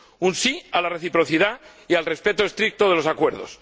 un sí a la reciprocidad y al respeto estricto de los acuerdos